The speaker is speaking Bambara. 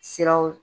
Siraw